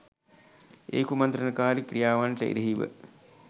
ඒ කුමන්ත්‍රණකාරී ක්‍රියාවන්ට එරෙහිව